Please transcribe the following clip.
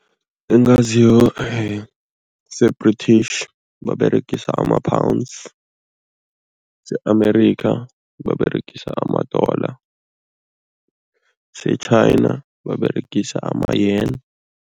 Engaziyo se-British, baberegisa ama-pounds, se-America, baberegisa ama-dollar, se-China baberegisa ama-yaun.